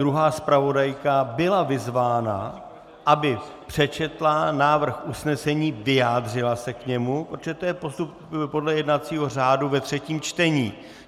Druhá zpravodajka byla vyzvána, aby přečetla návrh usnesení, vyjádřila se k němu, protože to je postup podle jednacího řádu ve třetím čtení.